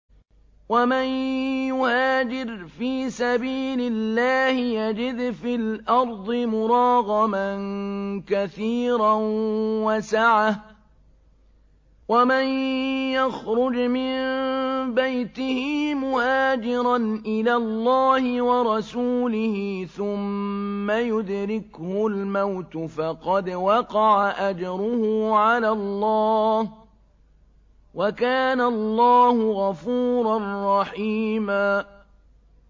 ۞ وَمَن يُهَاجِرْ فِي سَبِيلِ اللَّهِ يَجِدْ فِي الْأَرْضِ مُرَاغَمًا كَثِيرًا وَسَعَةً ۚ وَمَن يَخْرُجْ مِن بَيْتِهِ مُهَاجِرًا إِلَى اللَّهِ وَرَسُولِهِ ثُمَّ يُدْرِكْهُ الْمَوْتُ فَقَدْ وَقَعَ أَجْرُهُ عَلَى اللَّهِ ۗ وَكَانَ اللَّهُ غَفُورًا رَّحِيمًا